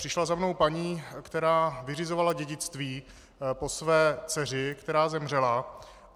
Přišla za mnou paní, která vyřizovala dědictví po své dceři, která zemřela.